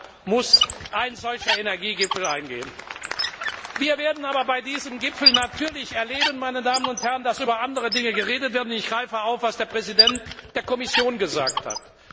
Auch darauf muss ein solcher Energiegipfel eingehen. Wir werden aber bei diesem Gipfel natürlich erleben, dass über andere Dinge geredet wird, und ich greife auf, was der Präsident der Kommission gesagt hat.